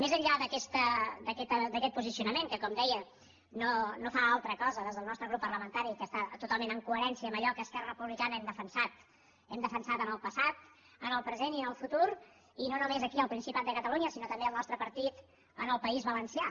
més enllà d’aquest posicionament que com deia no fa altra cosa des del nostre grup parlamentari que estar totalment en coherència amb allò que esquerra republicana hem defensat en el passat en el present i en el futur i no només aquí al principat de catalunya sinó també al nostre partit en el país valencià